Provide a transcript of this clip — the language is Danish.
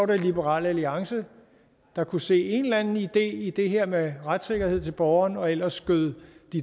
det liberal alliance der kunne se en eller anden idé i det her med retssikkerhed til borgeren og ellers skød